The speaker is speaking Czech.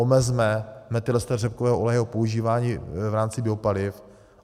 Omezme metylester řepkového oleje, jeho používání v rámci biopaliv.